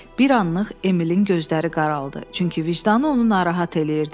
Bir anlıq Emilin gözləri qaraldı, çünki vicdanı onu narahat eləyirdi.